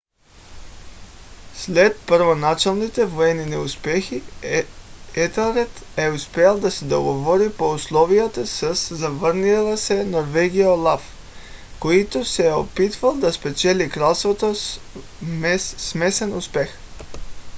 след първоначалните военни неуспехи етелред е успял да се договори по условията със завърналия се в норвегия олаф който се е опитвал да спечели кралството със смесен успех